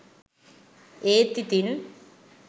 ඒත් ඉතින්